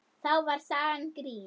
Þá var sagan grín.